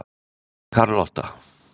Karlotta